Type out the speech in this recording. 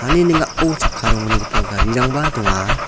ani ning·ao chakka ronggniba garirangba donga.